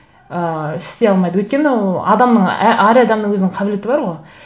ыыы істей алмайды өйткені адамның әр адамның өзінің қабілеті бар ғой